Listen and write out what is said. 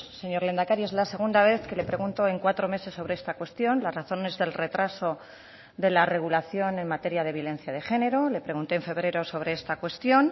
señor lehendakari es la segunda vez que le pregunto en cuatro meses sobre esta cuestión las razones del retraso de la regulación en materia de violencia de género le pregunté en febrero sobre esta cuestión